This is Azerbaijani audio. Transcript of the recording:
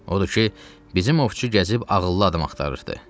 Odur ki, bizim ovçu gəzib ağıllı adam axtarırdı.